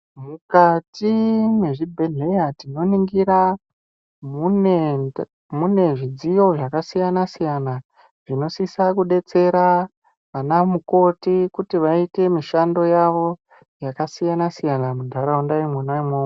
Mukati mwe zvibhedhleya tino ningira mune zvidziyo zvaka siyana siyana zvino sisa kudetsera ana mukoti kuti vaite mishando yavo yaka siyana siyana mu ndaraunda imwona imwomwo.